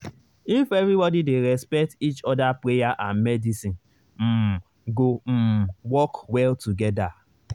if everybody dey respect each other prayer and medicine um go um work well together.